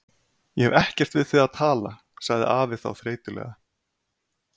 Ég hef ekkert við þig að tala, sagði afi þá þreytulega.